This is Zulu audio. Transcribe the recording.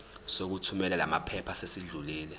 sokuthumela lamaphepha sesidlulile